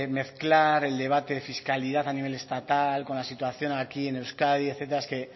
mezclar el debate fiscalidad a nivel estatal con la situación aquí en euskadi etcétera es que